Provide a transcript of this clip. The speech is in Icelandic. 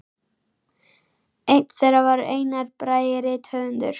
Einn þeirra var Einar Bragi rithöfundur.